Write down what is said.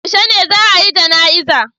Yaushe ne za'a yi jana'iza?